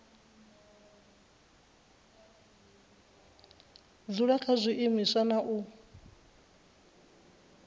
dzula kha zwiimiswa na u